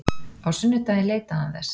Á sunnudaginn leitaði hann þess.